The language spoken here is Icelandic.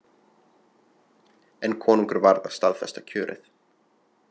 En konungur varð að staðfesta kjörið.